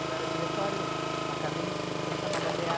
Então era Diretório Acadêmico, então chamava DêA.